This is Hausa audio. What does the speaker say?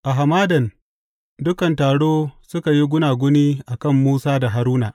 A hamadan, dukan taro suka yi gunaguni a kan Musa da Haruna.